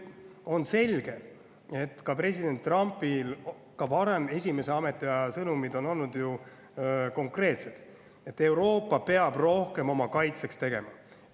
On selge, et president Trumpi ka varasemad, esimese ametiaja sõnumid olid ju konkreetsed: Euroopa peab rohkem oma kaitseks tegema.